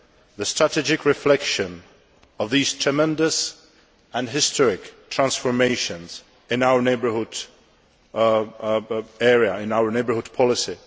the strategic reflection of these tremendous and historic transformations in our neighbourhood area and our neighbourhood policy.